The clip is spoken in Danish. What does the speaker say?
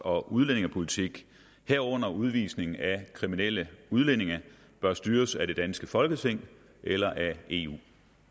og udlændingepolitik herunder udvisning af kriminelle udlændinge bør styres af det danske folketing eller af eu